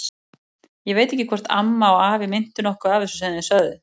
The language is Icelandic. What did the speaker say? Ég veit ekki hvort amma og afi meintu nokkuð af þessu sem þau sögðu.